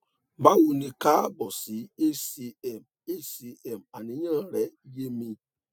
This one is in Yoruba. bawo ni kaabo si hcm hcm àníyàn rẹ yé mi